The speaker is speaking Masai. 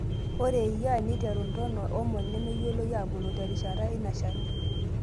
Ore eyia, neiteru ntono omon nemeyioloi aabulu terishata eina Shani.